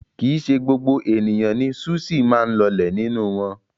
Kì í ṣe gbogbo ènìyàn ni súṣì máa ń lọlẹ̀ nínú wọn.